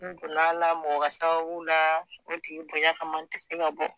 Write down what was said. N donna na mɔgɔ ka sababu la o tigibonya kama n te se ka bɔ